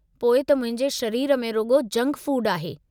पोइ त मुंहिंजे शरीर में रुॻो जंक फूड आहे।